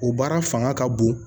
O baara fanga ka bon